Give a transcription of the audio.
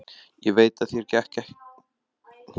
Ég veit að þér gekk gott eitt til, sagði hún.